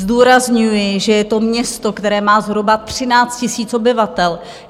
Zdůrazňuji, že je to město, které má zhruba 13 000 obyvatel.